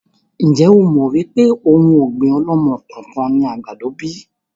Ń jẹ́ ó mọ wípé òun ọ̀gbín ọ̀lọ́mọ-kọọ-kan ni àgbàdo bíi?